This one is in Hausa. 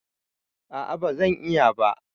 A'a ba zan iya ba.